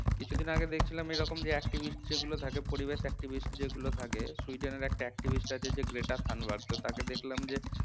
কিছুদিন আগে দেখছিলাম এরকম যে activist যেগুলো থাকে পরিবেশ activist যেগুলো থাকে সুইডেন এর একটা activist আছে যে গ্রেটা থর্নবার্গ তো তাকে দেখলাম যে